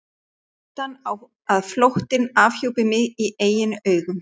Hættan á að flóttinn afhjúpaði mig í eigin augum.